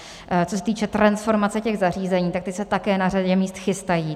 Co se týče transformace těch zařízení, tak ty se také na řadě míst chystají.